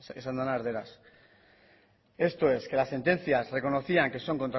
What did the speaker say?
esaten dena erdaraz esto es que las sentencias reconocían que son